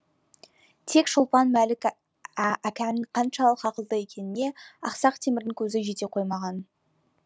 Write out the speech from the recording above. тек шолпан мәлік қаншалық ақылды екеніне ақсақ темірдің көзі жете қоймаған